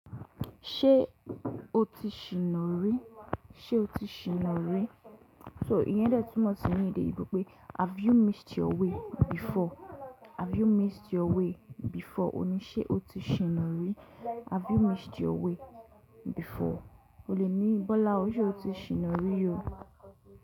Ṣé o ti ṣìna rí? Ṣé o ti ṣìna rí? So iye dé tunmọ si ní èdè òyìnbó pé have you missed your way before? Have you missed your way before? Ó ní ṣé o ti ṣìna rí? Have you missed your way before? O lè ní Bọ́lá ọ ṣé o ti ṣìna rí o.